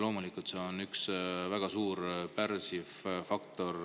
Loomulikult on see majanduse käekäigus väga suur pärssiv faktor.